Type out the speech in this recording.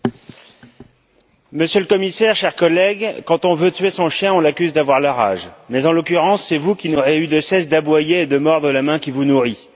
Monsieur le Président, Monsieur le Commissaire, chers collègues, quand on veut tuer son chien, on l'accuse d'avoir la rage mais, en l'occurrence, c'est vous qui n'aurez eu de cesse d'aboyer et de mordre la main qui vous nourrit.